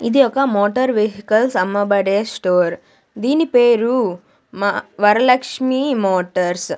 ఇది ఒక motor vehicles అమ్మబడే స్టోర్ దీని పేరు మా వరలక్ష్మి మోటార్స్ .